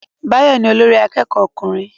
Báyọ̀ ni olórí akẹ́kọ̀ọ́ ọkùnrin